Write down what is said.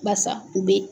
Basa u be yen